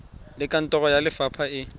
le kantoro ya lefapha e